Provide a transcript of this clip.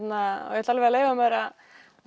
ég ætla alveg að leyfa mér að